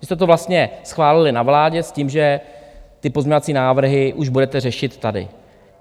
Vy jste to vlastně schválili na vládě s tím, že ty pozměňovací návrhy už budete řešit tady.